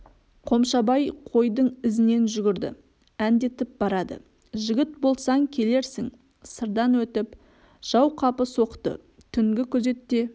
қомшабай қойдың ізінен жүгірді әндетіп барады жігіт болсаң келерсің сырдан өтіп жау қапы соқты түнгі күзетте